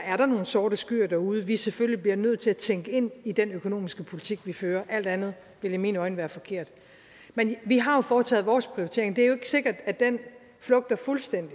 er der nogle sorte skyer derude som vi selvfølgelig bliver nødt til at tænke ind i den økonomiske politik vi fører alt andet ville i mine øjne være forkert men vi har jo foretaget vores prioritering og det er jo ikke sikkert at den flugter fuldstændig